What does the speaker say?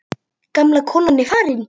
Gamla konan er farin.